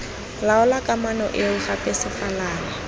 laola kamano eo gape sefalana